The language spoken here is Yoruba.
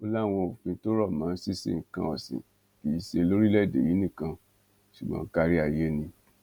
ó láwọn òfin tó rọ mọ ṣinṣin nǹkan ọsìn kì í ṣe lórílẹèdè yìí nìkan ṣùgbọn kárí ayé ni